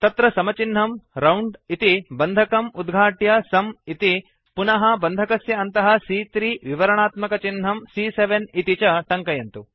तत्र समचिह्नं राउण्ड इति बन्धकम् उद्घाट्य सुं इति पुनः बन्धकस्य अन्तःC3 विवराणात्मकचिह्नं सी॰॰7 इति च टङ्कयन्तु